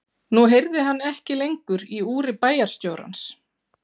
Nú heyrði hann ekki lengur í úri bæjarstjórans.